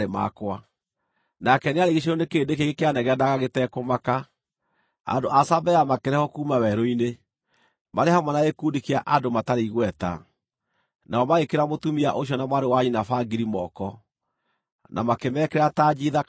“Nake nĩarigiicĩirio nĩ kĩrĩndĩ kĩingĩ kĩanegenaga gĩtekũmaka; andũ a Sabea makĩrehwo kuuma werũ-inĩ, marĩ hamwe na gĩkundi kĩa andũ matarĩ igweta, nao magĩĩkĩra mũtumia ũcio na mwarĩ wa nyina bangiri moko, na makĩmekĩra tanji thaka mĩtwe.